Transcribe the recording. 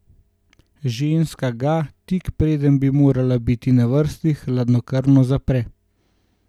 Ženska ga, tik preden bi moral biti na vrsti, hladnokrvno zapre.